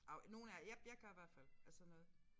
Af nogen af jeg jeg gør hvert fald af sådan noget